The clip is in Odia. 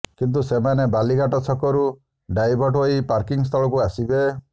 କିନ୍ତୁ ସେମାନେ ବାଲିଘାଟ ଛକରୁ ଡାଇଭଟ୍ ହୋଇ ପାର୍କିଂସ୍ଥଳକୁ ଆସିବେ